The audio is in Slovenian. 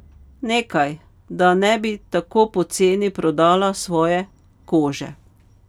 Nekaj, da ne bi tako poceni prodala svoje kože.